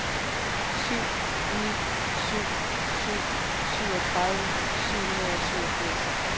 syv ni syv syv syvogtredive syv hundrede og syvogfirs